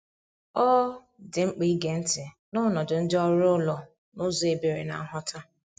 Ọ dị mkpa ige ntị n’ọnọdụ ndị ọrụ ụlọ n’ụzọ ebere na nghọta.